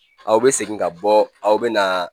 Aw bɛ segin ka bɔ aw bɛ na